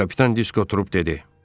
Kapitan Disko durub dedi.